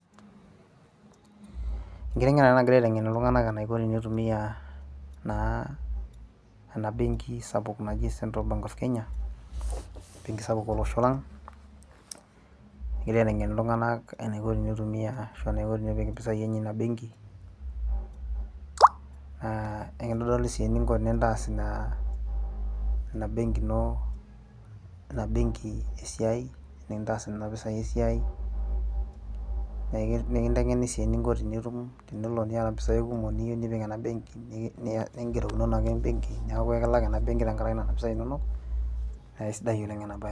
enkiteng'ena ena nagirae aiteng'en iltung'anak enaiko tenitumia naa ena benki sapuk naji central bank of kenya embenki sapuk olosho lang egirae aiteng'en iltung'anak enaiko tenitumia ashu enaiko tenepik impisai enye ina benki naa ekintodoli sii eninko tenintas ina, ina benki ina benki esiai enintas nana pisai esiai nekinteng'eni sii eninko tenitum tenelo niata mpisai kumok niyieu nipik ena benki ningerokinono ake embenki neeku ekilak ena benki tenkarake nena pisai inonok naa aisidai oleng ena baye.